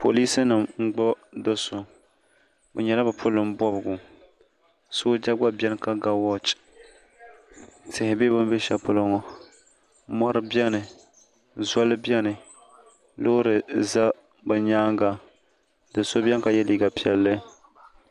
Polisi nima n gbubi do so bi nyɛla bi polin bɔbigu sooja gba bɛni ka ga wɔchi tihi bɛ bini bɛ shɛli polo ŋɔ mori bɛni soli bɛni loori za bi yɛanga doo bɛni ka ye liiga piɛlli.